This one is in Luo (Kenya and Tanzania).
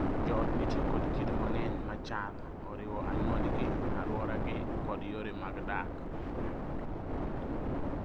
Jo ot nitie kod kido mang'enya machal, oriwo anyuondgi, alworagi kod yore mag dak.